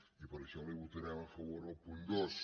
i per això li votarem a favor el punt dos